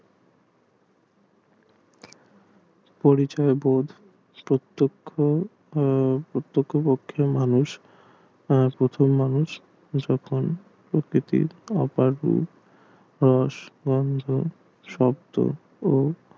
পরিচয় বোধ প্রত্যক্ষ মানুষ ও প্রথম মানুষ প্রকৃতির